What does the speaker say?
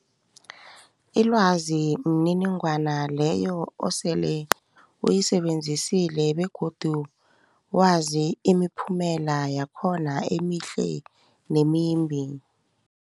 Ilwazi mniningwana leyo osele uyisebenzisile begodu wazi imiphumela yakhona emihle nemimbi.